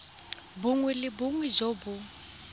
bongwe le bongwe jo bo